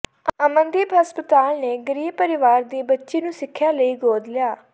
ਅਮਨਦੀਪ ਹਸਪਤਾਲ ਨੇ ਗਰੀਬ ਪਰਿਵਾਰ ਦੀ ਬੱਚੀ ਨੂੰ ਸਿੱਖਿਆ ਲਈ ਗੋਦ ਲਿਆ